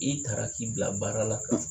I taara k'i bila baara la kan